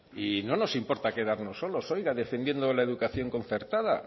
y no nos importa quedarnos solos defendiendo la educación concertada